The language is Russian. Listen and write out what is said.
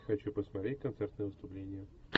хочу посмотреть концертное выступление